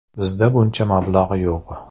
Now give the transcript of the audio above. Bizda buncha mablag‘ yo‘q.